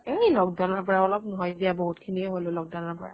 এই lockdown ৰ পৰা অলপ নহয় দিয়া বহুত খিনিয়ে হলো lockdown ৰ পৰা